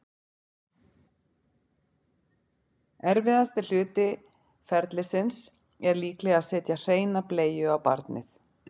Erfiðasti hluti ferlisins er líklega að setja hreina bleiu á barnið.